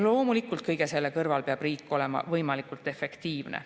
Loomulikult, kõige selle kõrval peab riik olema võimalikult efektiivne.